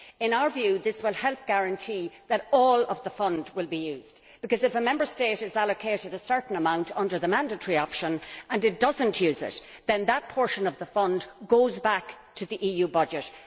In our view, this will help guarantee that all of the fund will be used, because, if a Member State is allocated a certain amount under the mandatory option and does not use it, then that portion of the fund goes back to the EU budget.